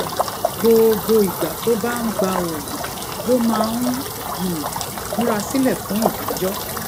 gbogbo ìgbà tó bá ń gba oògùn ló máa ń um múra sílè fún ìdájó